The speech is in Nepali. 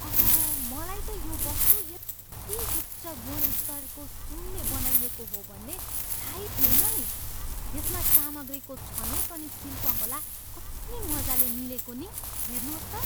ओह, मलाई त यो वस्तु यति उच्च गुणस्तरको सुनले बनाइएको हो भन्ने थाहै थिएन नि। यसमा सामग्रीको छनोट अनि शिल्पकला कति मजाले मिलेको नि? हेर्नुहोस् त!